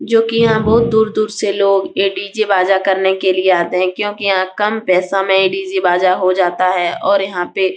जो की यहाँ बहुत दूर-दूर से लोग ये डी.जे. बाजा करने के लिए आते हैं क्योकि यहाँ कम पैसा में ही डी.जे. बाजा हो जाता है और यहाँ पे --